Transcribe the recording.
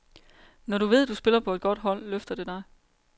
Når du ved, du spiller på et godt hold, løfter det dig.